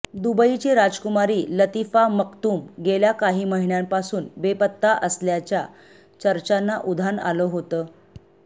दुबईची राजकुमारी Latifa Maktoum गेल्या काही महिन्यांपासून बेपत्ता असल्याच्या चर्चांना उधाण आलं होतं